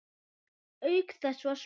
Auk þess var spurt